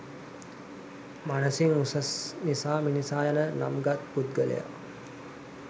මනසින් උසස් නිසා මිනිසා යන නම්ගත් පුද්ගලයා